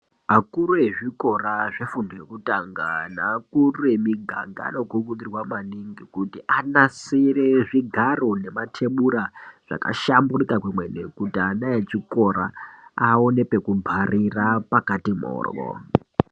Vakuru vezvikora vefundo zvekutanga nevakuru vemiganga vanokurudzirwa maningi kuti anasire zvigaro nematebura zvabahlamburuka kwemene kuti ana echikora aone pekubharira pakati mhoryo.